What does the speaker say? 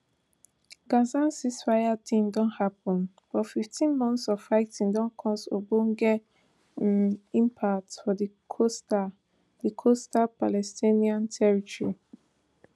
gaza ceasefire deal don happun but fifteen months of fighting don cause ogbonge um impact for di coastal di coastal palestinian territory